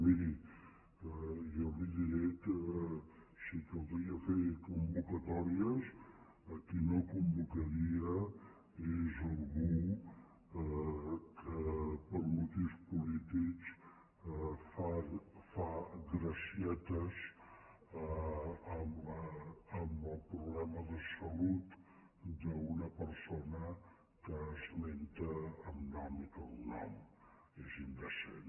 miri jo li diré que si calgués fer convocatòries a qui no convocaria és a algú que per motius polítics fa gracietes amb el problema de salut d’una persona a la qual esmenta amb nom i cognom és indecent